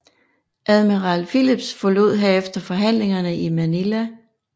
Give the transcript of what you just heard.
Admiral Phillips forlod herefter forhandlingerne i Manila